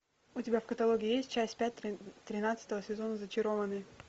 у тебя в каталоге есть часть пятая тринадцатого сезона зачарованные